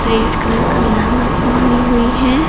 Red colour का लहंगा पानी है।